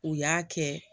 U y'a kɛ